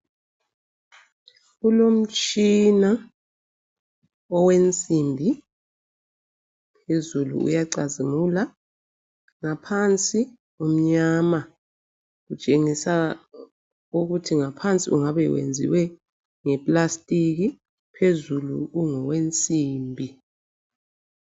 Kulomtshina owensimbi phezulu uyacazimula. Ngaphansi umnyama, utshengisa ukuthi ngaphansi ungabe wenziwe nge-plastiki phezulu ungowensimbi.